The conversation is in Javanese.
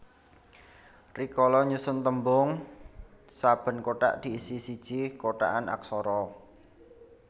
Rikala nyusun tembung saben kotak diisi siji kotakan aksara